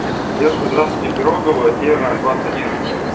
девушка здравствуйте пирогово северная двадцать один